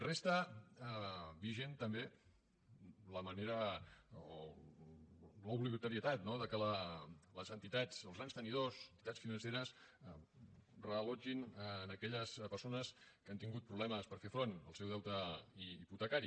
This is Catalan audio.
resta vigent també la manera o l’obligatorietat no que les entitats els grans tenidors entitats financeres reallotgin aquelles persones que han tingut problemes per fer front al seu deute hipotecari